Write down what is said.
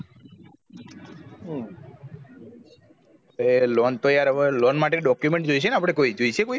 અરે loan તો યાર હવે loan માટે document જોયીસે ને આપડે કોઈ જોયી સે કોઈ